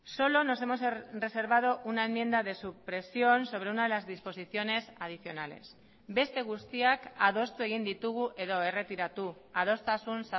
solo nos hemos reservado una enmienda de supresión sobre una de las disposiciones adicionales beste guztiak adostu egin ditugu edo erretiratu adostasun